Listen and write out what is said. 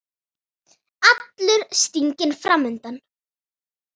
Allur stiginn fram undan.